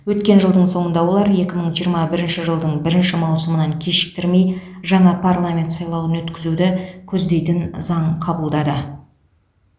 өткен жылдың соңында олар екі мың жиырма бірінші жылдың бірінші маусымынан кешіктірмей жаңа парламент сайлауын өткізуді көздейтін заң қабылдады